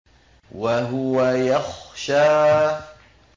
وَهُوَ يَخْشَىٰ